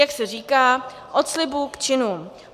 Jak se říká - od slibů k činům.